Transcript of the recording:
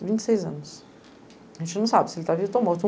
Vinte seis anos. A gente não sabe, se ele tá vivo ou está morto.